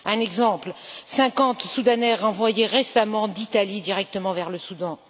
Un exemple 50 Soudanais renvoyés récemment d'Italie directement vers le Soudan.